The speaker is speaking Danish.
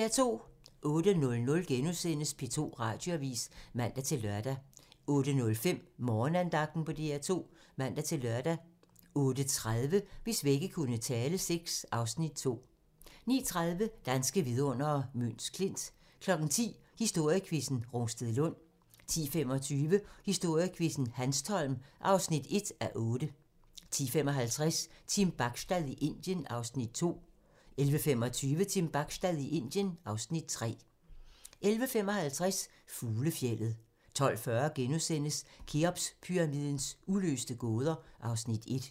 08:00: P2 Radioavis *(man-lør) 08:05: Morgenandagten på DR2 (man-lør) 08:30: Hvis vægge kunne tale VI (Afs. 2) 09:30: Danske vidundere: Møns Klint 10:00: Historiequizzen: Rungstedlund 10:25: Historiequizzen: Hanstholm (1:8) 10:55: Team Bachstad i Indien (Afs. 2) 11:25: Team Bachstad i Indien (Afs. 3) 11:55: Fuglefjeldet 12:40: Kheopspyramidens uløste gåder (Afs. 1)*